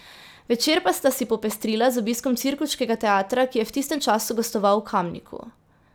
Večer pa sta si popestrila z obiskom cirkuškega teatra, ki je v tistem času gostoval v Kamniku.